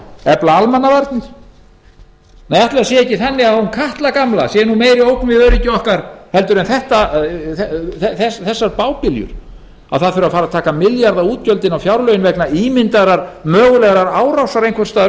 efla almannavarnir nei ætli það sé ekki þannig að hún katla gamla sé meiri ógn við öryggi okkar en þessar bábiljur að það þurfi að fara að taka milljarðaútgjöld inn á fjárlögin vegna ímyndaðrar mögulegrar árásar